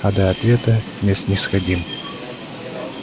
а до ответа не снисходим